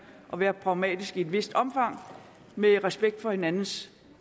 og været pragmatiske i et vist omfang med respekt for hinandens